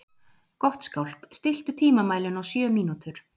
Gottskálk, stilltu tímamælinn á sjö mínútur.